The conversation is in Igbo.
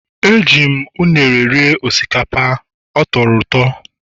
Eji m unere rie osikapa ma ọ tọrọ ụtọ